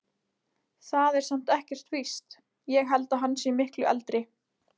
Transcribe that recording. Það er samt ekkert víst. ég held að hann sé miklu eldri.